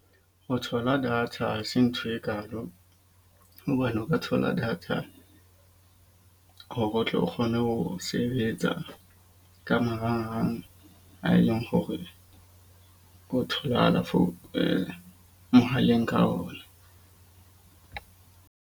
Ho thola data hase ntho e kalo. Hobane o ka thola data hore o tle o kgone ho sebetsa ka marangrang, a eleng hore ho tholahala for mohaleng ka ona.